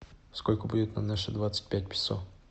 сколько будет на наши двадцать пять песо